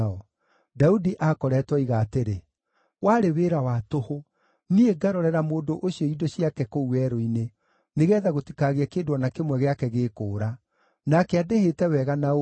Daudi aakoretwo oiga atĩrĩ, “Warĩ wĩra wa tũhũ, niĩ ngarorera mũndũ ũcio indo ciake kũu werũ-inĩ, nĩgeetha gũtikagĩe kĩndũ o na kĩmwe gĩake gĩkũũra. Nake andĩhĩte wega na ũũru.